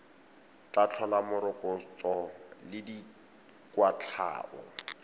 tla tlhola morokotso le dikwatlhao